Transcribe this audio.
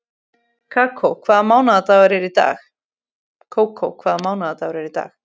Kókó, hvaða mánaðardagur er í dag?